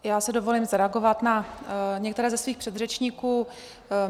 Já si dovolím zareagovat na některé ze svých předřečníků.